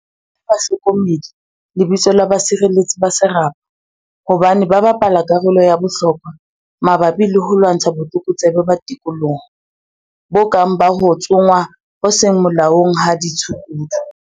O reile bahlokomedi lebitso la 'basireletsi ba serapa' hobane ba bapala karolo ya bohlokwa mabapi le ho lwantsha botlokotsebe ba tikoloho, bo kang ba ho tsongwa ho seng molaong ha ditshukudu.